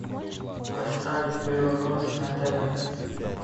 поставь белрос на тв